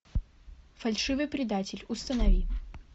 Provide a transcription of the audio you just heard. фальшивый предатель установи